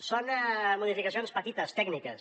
es diu són modificacions petites tècniques